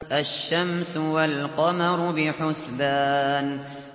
الشَّمْسُ وَالْقَمَرُ بِحُسْبَانٍ